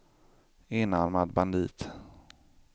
enarmad bandit